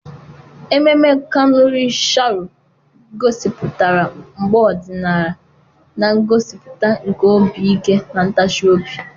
Ememme Kanuri Sharo gosipụtara mgba ọdịnala na ngosipụta nke obi ike na ntachi obi.